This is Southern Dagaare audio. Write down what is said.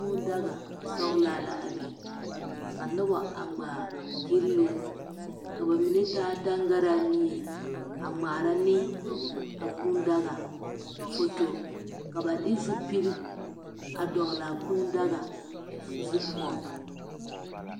Kuu daga sɔglaa la biŋ ka noba a ŋmaa gyilloo ka ba mine de taa taŋgaraa mie a ŋmaara ne a kuu daga foto ka ba de zupil a dɔgle a kuu daga zu poɔŋ.